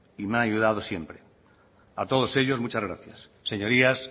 y me han ayudado siempre a todos ellos muchas gracias señorías